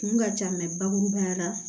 Kun ka ca bakurubaya la